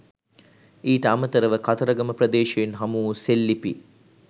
ඊට අමතරව කතරගම ප්‍රදේශයෙන් හමුවු සෙල්ලිපි